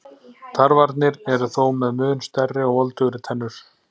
Tarfarnir eru þó með mun stærri og voldugri tennur.